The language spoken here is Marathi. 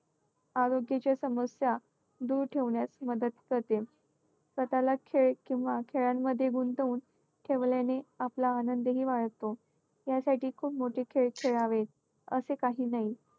आरोग्याच्या समस्या दूर ठेवण्यास मदत करते, स्वतःला खेळ किंवा खेळांमध्ये गुंतवून ठेवल्याने आपला आनंदही वाढतो. यासाठी खूप मोठे खेळ खेळावे असे काही नाही.